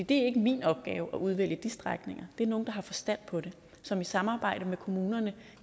det er ikke min opgave at udvælge de strækninger det er nogle der har forstand på det som i samarbejde med kommunerne